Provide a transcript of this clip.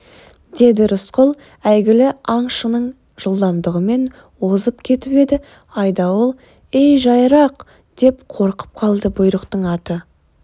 деді рысқұл әйгілі аңшының жылдамдығымен озып кетіп еді айдауыл ей жайырақ деп қорқып қалды бұйрықтың аты